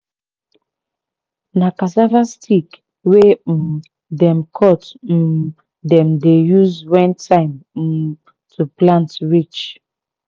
na cassava stick wey um dem cut um dem dey use when time um to plant reach.